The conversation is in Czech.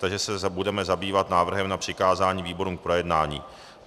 Takže se budeme zabývat návrhem na přikázání výborům k projednání.